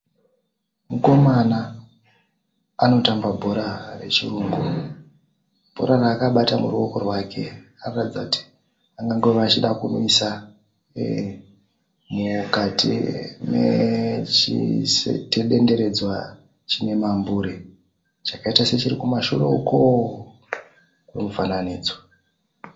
Mukomana anotamba bhora rechirungu. Bhora raakabata muruoko rwake anoratidza kuti angangova anoda kunwisa mukati medendenedzwa chine mambure. Chakaita sechiri kumashure uko kwemufananidzo.